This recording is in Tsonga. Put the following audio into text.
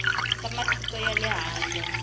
va matiko ya le handle